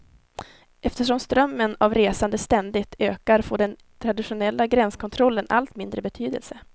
Eftersom strömmen av resande ständigt ökar får den traditionella gränskontrollen allt mindre betydelse.